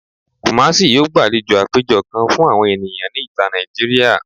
Kumasi yoo gbalejo apejọ kan fun awọn eniyan ni ita Naijiria